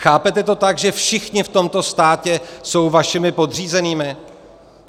Chápete to tak, že všichni v tomto státě jsou vašimi podřízenými?